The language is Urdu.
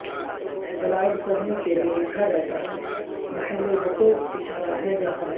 دلائل سرنی کے لئے لکھا جاتا محل وقوع اشارہ ہے جہاں ہے